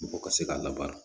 Mɔgɔ ka se ka labaara